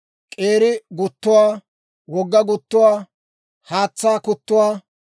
k'eeri guttuwaa, wogga guttuwaa, haatsaa kuttuwaa,